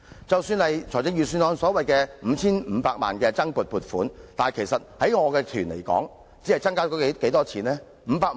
即使財政預算案增加了 5,500 萬元的撥款，但以我的藝團為例，實際上可獲增撥多少資助？